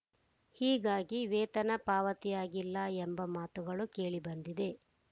ಹೀಗಾಗಿ ವೇತನ ಪಾವತಿಯಾಗಿಲ್ಲ ಎಂಬ ಮಾತುಗಳು ಕೇಳಿಬಂದಿದೆ